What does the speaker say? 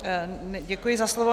Děkuji za slovo.